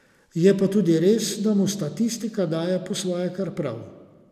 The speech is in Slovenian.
Je pa tudi res, da mu statistika daje po svoje kar prav.